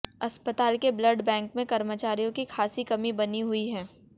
अस्पताल के blood bank में कर्मचारियों की खासी कमी बनी हुई है